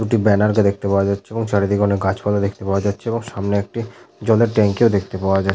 দুটি ব্যানার কে দেখতে পাওয়া যাচ্ছে এবং চারিদিকে অনেক গাছপালা দেখতে পাওয়া যাচ্ছে এবং সামনে একটি জলের ট্যাঙ্কি ও দেখতে পাওয়া যা--